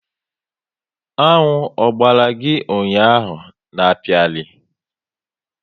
Aṅụ Ogbara gị ụnyaahụ n'akpiari